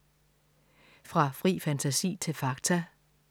Fra fri fantasi til fakta